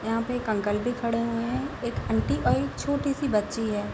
यहाँ पे एक अंकल भी खड़े हुए हैं | एक आंटी और एक छोटी सी बच्ची है।